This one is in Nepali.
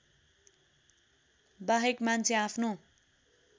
वाहेक मान्छे आफ्नो